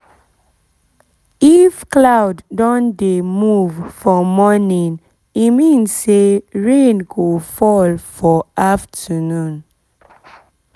if cloud don dey move for morning e mean say rain go fall for afternoon